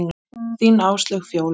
Þín Áslaug Fjóla.